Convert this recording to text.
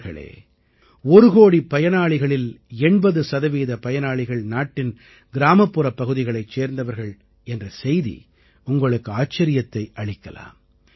நண்பர்களே ஒரு கோடி பயனாளிகளில் 80 சதவீத பயனாளிகள் நாட்டின் கிராமப்புறப் பகுதிகளைச் சேர்ந்தவர்கள் என்ற செய்தி உங்களுக்கு ஆச்சரியத்தை அளிக்கலாம்